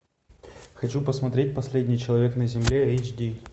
хочу посмотреть последний человек на земле эйч ди